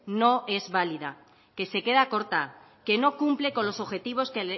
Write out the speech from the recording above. no es válida que se queda corta que no cumple con los objetivos que